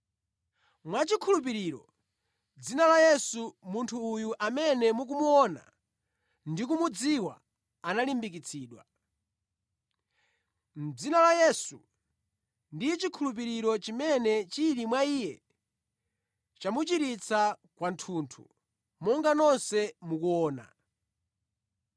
Mwachikhulupiriro mʼdzina la Yesu, munthu uyu amene mukumuona ndi kumudziwa analimbikitsidwa. Mʼdzina la Yesu ndi chikhulupiriro chimene chili mwa iye chamuchiritsa kwathunthu, monga nonse mukuona.